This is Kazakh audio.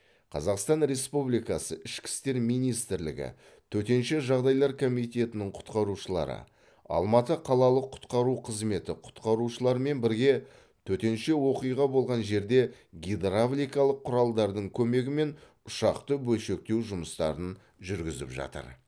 қазақстан республикасы ішкі істер министрлігі төтенше жағдайлар комитетінің құтқарушылары алматы қалалық құтқару қызметі құтқарушыларымен бірге төтенше оқиға болған жерде гидравликалық құралдардың көмегімен ұшақты бөлшектеу жұмыстарын жүргізіп жатыр